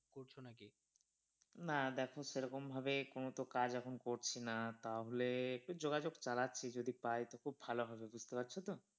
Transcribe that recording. না দেখো সেরকম ভাবে কোন তো কাজ এখন করছি না তাহলে যোগাযোগ চালাচ্ছি, যদি পায় তো খুব ভালো হবে বুঝতে পারছো তো।